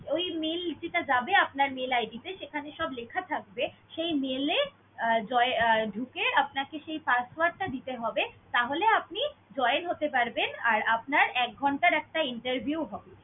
ওই mail যেটা যাবে আপনার mail id তে সেখানে সব লেখা থাকবে, সেই mail এ আহ জয়~ আহ ঢুকে আপনাকে সেই password টা দিতে হবে। তাহলে আপনি join হতে পারবেন আর আপনার একঘন্টার একটা interview হবে।